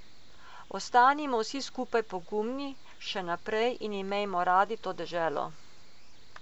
Ostanimo vsi skupaj pogumni še naprej in imejmo radi to deželo.